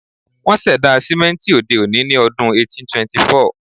Wón ṣẹ̀dá sìmẹ́ńtì òde-òní ní ọdún 1824.